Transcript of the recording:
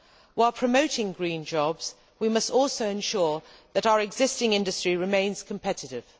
While promoting green jobs we must also ensure that our existing industry remains competitive.